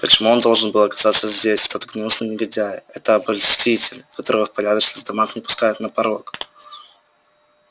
почему он должен был оказаться здесь этот гнусный негодяй это обольститель которого в порядочных домах не пускают на порог